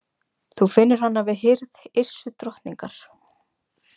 Þú finnur hana við hirð Yrsu drottningar.